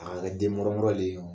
A ka kɛ den mɔrɔmɔrɔlen ye.